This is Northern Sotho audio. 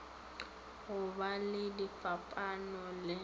go ba le difapano le